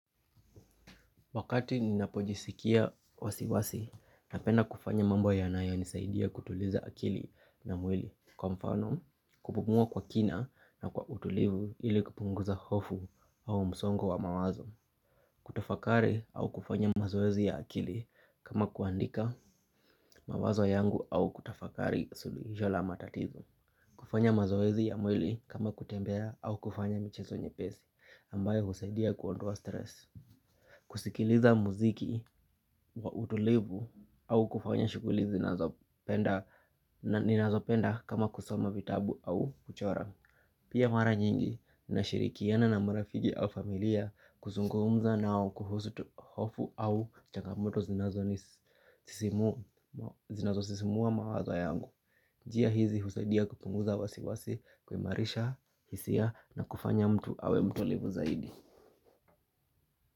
Wakati ninapojisikia wasiwasi, napenda kufanya mambo yanayo nisaidia kutuliza akili na mwili. Kwa mfano, kupumua kwa kina na kwa utulivu ili kupunguza hofu au msongu wa mawazo. Kutafakari au kufanya mazoezi ya akili kama kuandika mawazo yangu au kutafakari suluhisho la matatizo. Kufanya mazoezi ya mwili kama kutembea au kufanya michezo nyepesi ambayo husaidia kuondoa stress. Kusikiliza muziki wa utulivu au kufanya shughuli ninazopenda kama kusoma vitabu au kuchora. Pia mara nyingi na shirikiana na marafiki au familia kuzungumza nao kuhusu hofu au changamoto zinazosisimua mawazo yangu njia hizi hunisadia kupunguza wasiwasi kuimarisha hisia na kufanya mtu awe mtulivu zaidi.